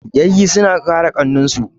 Yayyi suna kare ƙannan su.